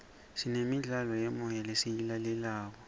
sinemidlalo yemoya lesiyilalelayo